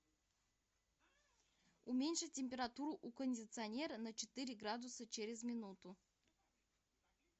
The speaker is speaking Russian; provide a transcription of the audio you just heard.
уменьши температуру у кондиционера на четыре градуса через минуту